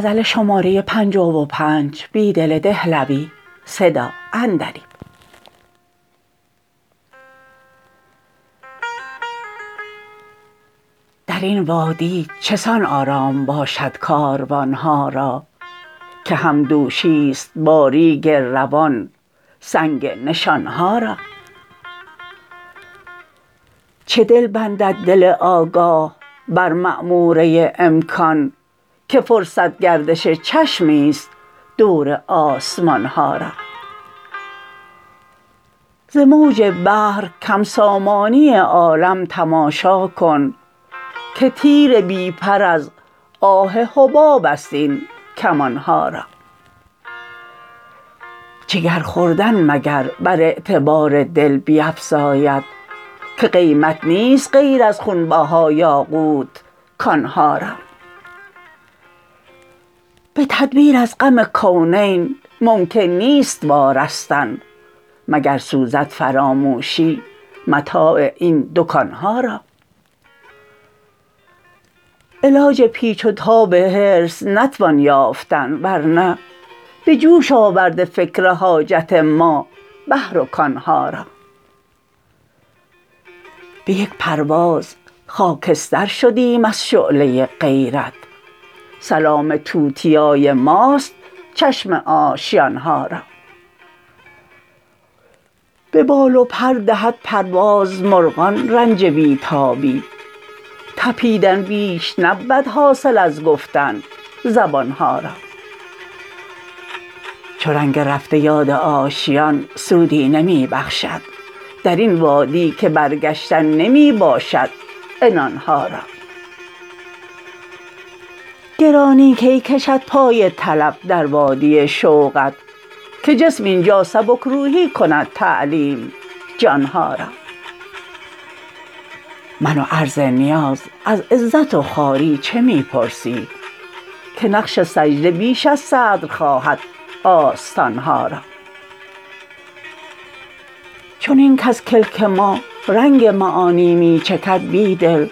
درین وادی چسان آرام باشد کاروان ها را که همدوشی ست با ریگ روان سنگ نشان ها را چه دل بندد دل آگاه بر معموره امکان که فرصت گردش چشمی ست دور آسمان ها را ز موج بحر کم سامانی عالم تماشا کن که تیر بی پر از آه حباب است این کمان ها را جگر خون مگر بر اعتبار دل بیفزاید که قیمت نیست غیر از خونبها یاقوت کان ها را به تدبیر از غم کونین ممکن نیست وارستن مگر سوزد فراموشی متاع این دکان ها را علاج پیچ وتاب حرص نتوان یافتن ورنه به جوش آورده فکر حاجت ما بحر و کان ها را به یک پرواز خاکستر شدیم از شعله غیرت سلام توتیای ماست چشم آشیان ها را به بال وبر دهد پرواز مرغان رنج بی تابی تپیدن بیش نبود حاصل از گفتن زبان ها را چو رنگ رفته یاد آشیان سودی نمی بخشد درین وادی که برگشتن نمی باشد عنان ها را گرانی کی کشد پای طلب در وادی شوقت که جسم اینجا سبک روحی کند تعلیم جان ها را من و عرض نیاز از عزت و خواری چه می پرسی که نقش سجده بیش از صدر خواهد آستان ها را چنین کز کلک ما رنگ معانی می چکد بیدل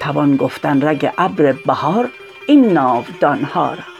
توان گفتن رگ ابر بهار این ناودان ها را